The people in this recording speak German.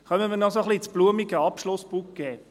Kommen wir noch ein wenig ins blumige Abschlussbouquet: